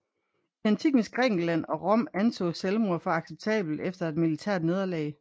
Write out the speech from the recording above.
I antikkens Grækenland og Rom ansås selvmord for acceptabelt efter et militært nederlag